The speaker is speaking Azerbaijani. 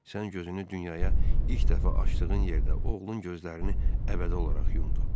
Sən gözünü dünyaya ilk dəfə açdığın yerdə oğlun gözlərini əbədi olaraq yumdu.